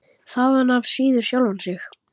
Þaðan af síður sjálfan sig.